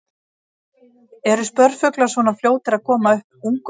Eru spörfuglar svona fljótir að koma upp ungum?